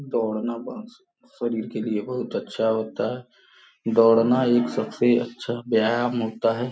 दौड़ना शरीर के लिए बहुत अच्छा होता है दौड़ना एक सबसे अच्छा व्यायाम होता है.